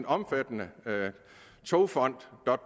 omfattende togfonden